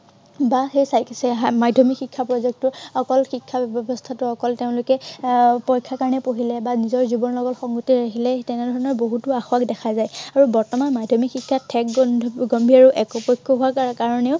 বা সেই আহ মাধ্য়মিক শিক্ষা project টো অকল শিক্ষা ব্য়ৱস্থাটো অকল তেওঁলোকে আহ পৰীক্ষাৰ কাৰনে পঢ়িলে বা নিজৰ জীৱনৰ লগত সংগতি ৰাখিলে। আহ তেনে ধৰনৰ বহুতো আসুৱাহ দেখা যায়। আৰু বৰ্তমান মাধ্য়মিক শিক্ষা ঠেক গণ্ডীৰ আৰু একপক্ষীয়া হোৱাৰ কা~কাৰনেও